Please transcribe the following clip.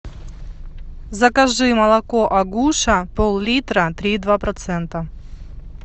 закажи молоко агуша пол литра три и два процента